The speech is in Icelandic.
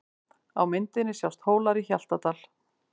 Á myndinni sjást Hólar í Hjaltadal.